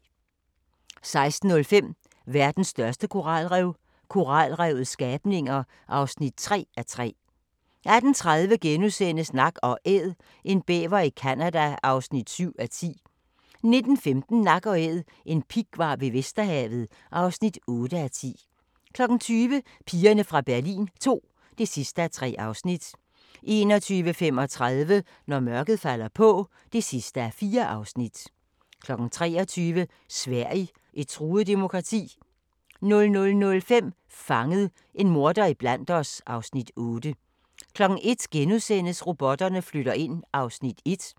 16:05: Verdens største koralrev – koralrevets skabninger (3:3) 18:30: Nak & Æd – en bæver i Canada (7:10)* 19:15: Nak & Æd – en pighvar ved Vesterhavet (8:10) 20:00: Pigerne fra Berlin II (3:3) 21:35: Når mørket falder på (4:4) 23:00: Sverige – et truet demokrati? 00:05: Fanget – en morder iblandt os (Afs. 8) 01:00: Robotterne flytter ind (1:2)*